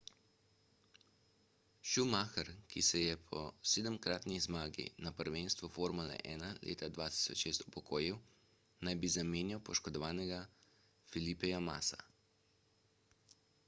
schumacher ki se je po sedemkratni zmagi na prvenstvu formule 1 leta 2006 upokojil naj bi zamenjal poškodovanega felipeja masso